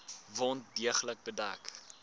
wond deeglik bedek